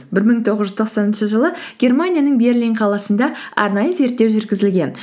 бір мың тоғыз жүз тоқсаныншы жылы германияның берлин қаласында арнайы зерттеу жүргізілген